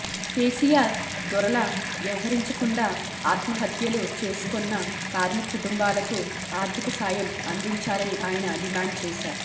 కేసీఆర్ దొరలా వ్యవహరించకుండా ఆత్మహత్యలు చేసుకున్న కార్మిక కుటుంబాలకు ఆర్థిక సాయం అందించాలని ఆయన డిమాండ్ చేశారు